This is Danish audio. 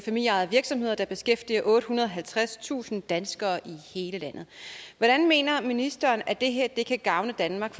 familieejede virksomheder der beskæftiger ottehundrede og halvtredstusind danskere i hele landet hvordan mener ministeren at det her kan gavne danmark